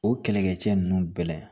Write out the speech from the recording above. O kɛlɛkɛcɛ ninnu bɛɛ la